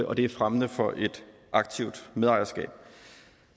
og det er fremmende for et aktivt medejerskab